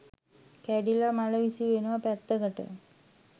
කැඩිලා මල විසි වෙනවා පැත්තකට